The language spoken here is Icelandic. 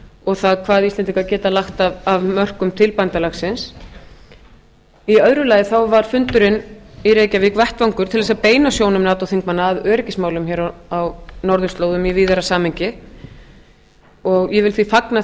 og það hvað íslendingar geta lagt af mörkum til bandalagsins í öðru lagi þá var fundurinn í reykjavík vettvangur til þess að beina sjónum nato þingmanna að öryggismálum hér á norðurslóðum í víðara samhengi ég vil því fagna